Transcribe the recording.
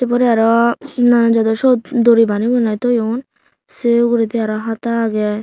se ugurey aro nanan jodor syot duri banibunai toyon sei uguredi aro hata agey.